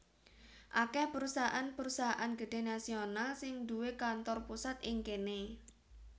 Akèh perusahaan perusahaan gedhé nasional sing duwé kantor pusat ing kéné